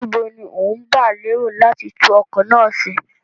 Níbo ni ó ń gba lérò láti tún ọkọ̀ náà ṣe?